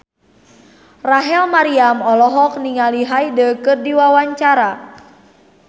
Rachel Maryam olohok ningali Hyde keur diwawancara